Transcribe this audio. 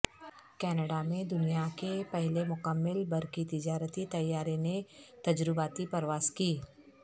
Canada میں دنیا کے پہلے مکمل برقی تجارتی طیارے نے تجرباتی پرواز کی